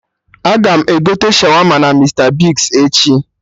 Agam egote Shawama na Mista Bigz echi